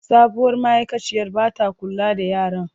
Sabuwar ma’aikaciyar ba ta kula da yaran.